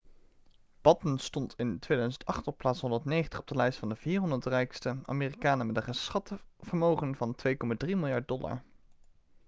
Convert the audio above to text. batten stond in 2008 op plaats 190 op de lijst van de 400 rijkste amerikanen met een geschat vermogen van 2,3 miljard dollar